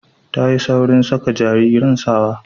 Tayi saurin saka jariran sawa